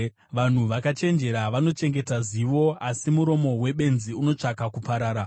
Vanhu vakachenjera vanochengeta zivo, asi muromo webenzi unotsvaka kuparara.